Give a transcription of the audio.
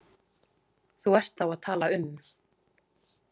Þú ert þá að tala um.